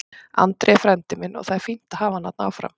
Andri er frændi minn og það er fínt að hafa hann þarna áfram.